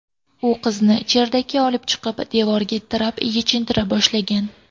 U qizni cherdakka olib chiqib, devorga tirab, yechintira boshlagan.